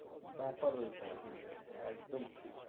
ব্যাপার ওইটাই হ্যাঁ একদম ঠিক